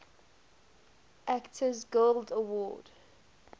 actors guild award